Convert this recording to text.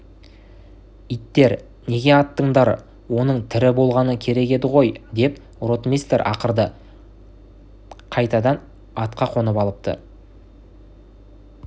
иттер неге аттыңдар оның тірі болғаны керек еді ғой деп ротмистр ақырды қайтадан атқа қонып алыпты